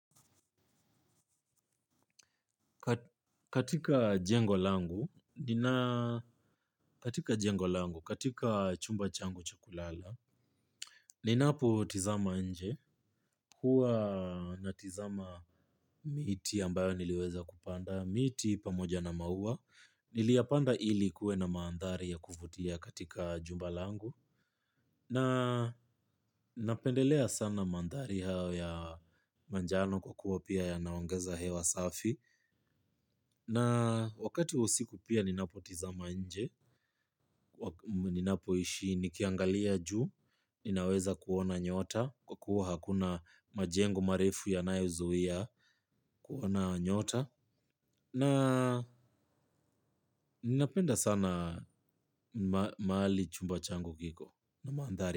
Katika jengo langu, katika chumba changu cha kulala, ninapotizama nje, huwa natizama miti ambayo niliweza kupanda, miti pamoja na maua, niliyapanda ili kuwe na maandhari ya kuvutia katika jumba langu, na napendelea sana maandhari hao ya manjano kwa kuwa pia yanaongeza hewa safi. Na wakati wa usiku pia ninapotizama nje ninapoishi nikiangalia juu ninaweza kuona nyota kwa kuwa hakuna majengo marefu yanayozuia kuona nyota. Na ninapenda sana mahali chumba changu kiko na maandhari.